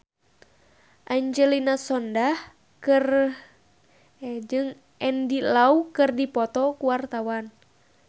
Angelina Sondakh jeung Andy Lau keur dipoto ku wartawan